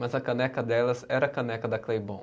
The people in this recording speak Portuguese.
Mas a caneca delas era a caneca da Claybom.